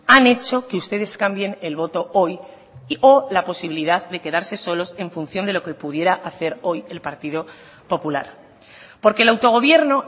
han hecho que ustedes cambien el voto hoy o la posibilidad de quedarse solos en función de lo que pudiera hacer hoy el partido popular porque el autogobierno